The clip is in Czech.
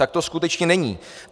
Tak to skutečně není.